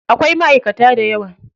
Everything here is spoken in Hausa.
Akwai maʼaikata dayawa.